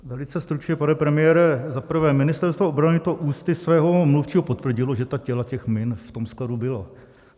Velice stručně, pane premiére, za prvé, Ministerstvo obrany to ústy svého mluvčího potvrdilo, že ta těla těch min v tom skladu byla.